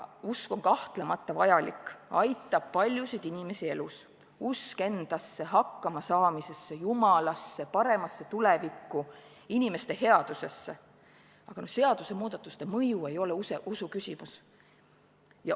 Usk on kahtlemata vajalik, aitab paljusid inimesi elus, usk endasse, hakkama saamisesse, jumalasse, paremasse tulevikku, inimeste headusesse, aga seadusemuudatuste mõju ei ole usuküsimus.